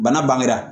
Bana bangera